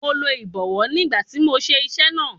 Mo lo ìbọwọ́ ní ìgbà tí mò ń ṣe iṣẹ́ náà.